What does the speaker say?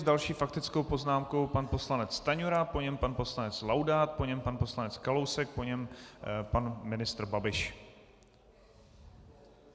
S další faktickou poznámkou pan poslanec Stanjura, po něm pan poslanec Laudát, po něm pan poslanec Kalousek, po něm pan ministr Babiš.